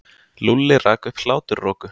Lúlli rak upp hláturroku.